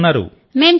మీరు ఎలా ఉన్నారు